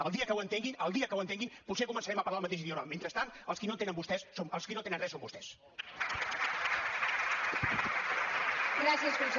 el dia que ho entenguin el dia que ho entenguin potser començarem a parlar el mateix idioma mentrestant els qui no entenen res són vostès